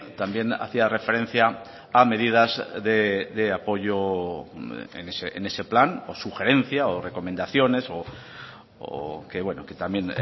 también hacía referencia a medidas de apoyo en ese plan o sugerencia o recomendaciones o que bueno que también